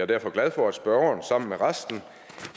derfor glad for at spørgeren sammen med resten